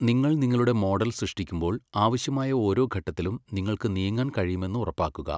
നിങ്ങൾ നിങ്ങളുടെ മോഡൽ സൃഷ്ടിക്കുമ്പോൾ, ആവശ്യമായ ഓരോ ഘട്ടത്തിലും നിങ്ങൾക്ക് നീങ്ങാൻ കഴിയുമെന്ന് ഉറപ്പാക്കുക.